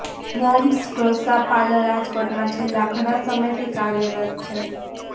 moms dosa parlour રાજકોટમાં છેલ્લા ઘણા સમયથી કાર્યરત છે